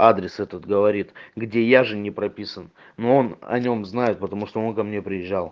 адрес этот говорит где я же не прописан но он о нем знает потому что он ко мне приезжал